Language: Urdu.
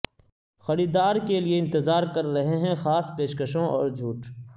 خریدار کے لیے انتظار کر رہے ہیں خاص پیشکشوں اور چھوٹ